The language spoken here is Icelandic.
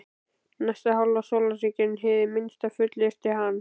Næsta hálfa sólarhringinn, hið minnsta, fullyrti hann.